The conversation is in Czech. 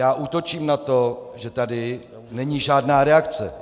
Já útočím na to, že tady není žádná reakce.